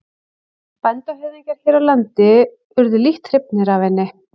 Bændahöfðingjar hér á landi urðu lítt hrifnir af henni.